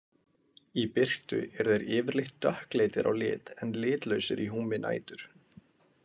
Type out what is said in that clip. Í birtu eru þeir yfirleitt dökkleitir á lit en litlausir í húmi nætur.